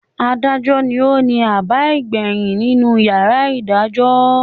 “Adájọ” ni ó ni àbá ìgbàyìn nínú “ yàrá ìgbẹ́jọ́”.